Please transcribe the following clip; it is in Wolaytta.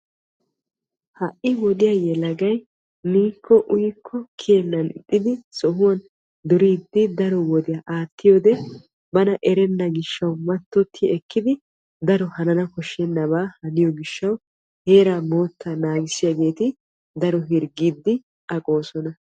Ha'i wodiyaa yelagay miikko uyikko kiyennan ixxidi sohuwaan duriidi daro wodiyaa attiyoode bana erenna gishshawu mattoti ekkidi daro hanana koshshenaba haniyoo giishshawu daro heeraa mottaa naagiyaagee daro hirggiidi aqoosona.